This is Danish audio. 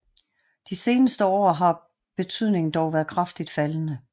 De seneste år har betydningen dog været kraftigt faldende